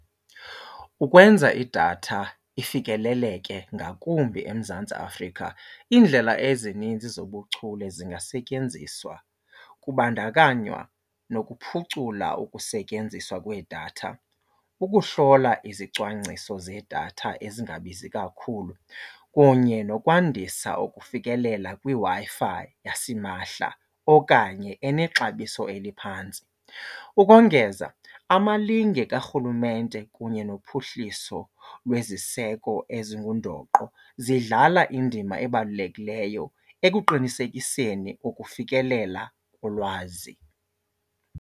Ukwenza idatha ifikeleleke ngakumbi eMzantsi Afrika iindlela ezininzi zobuchule zingasetyenziswa kubandakanywa nokuphucula ukusetyenziswa kwedatha, ukuhlola izicwangciso zedatha ezingabizi kakhulu kunye nokwandisa ukufikelela kwiWi-Fi yasimahla okanye enexabiso eliphantsi. Ukongeza amalinge karhulumente kunye nophuhliso lweziseko ezingundoqo zidlala indima ebalulekileyo ekuqinisekiseni ukufikelela kolwazi.